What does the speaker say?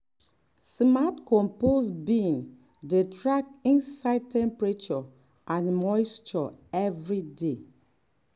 smart compost bin dey track inside temperature and moisture every day.